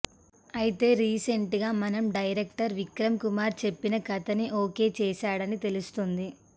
అయితే రీసెంట్ గా మనం డైరెక్టర్ విక్రమ్ కుమార్ చెప్పిన కథని ఒకే చేశాడని తెలుస్తోంది